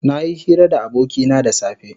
Nayi hira da abokina da safe.